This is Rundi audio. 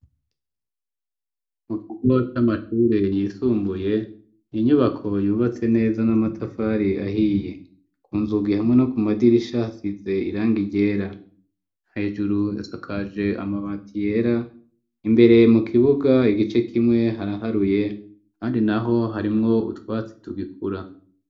Mu kigo c'amashuri yisumbuye iyi nyubako yubatse neza n'amatafari ahiye, kunzugi hamwe no ku madirisha hasize iranga ryera hejuru isakaje amabati yera, imbere mu kibuga igice kimwe haraharuye ahandi naho harimwo utwatsi tugikura.